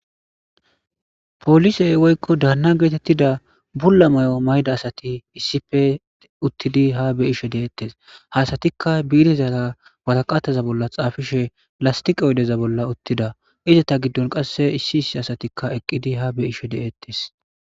Polisey woykko daanna geetettida bulla mayo mayda asati issippe uttidi ha be7ishe deettes. Ha satikka biirizara waraqataza bolla xaafishe lastiqa odeza bolla uttida. Izata giddon qasse issi issi asatikka eqqidi ha be7ishe deettes.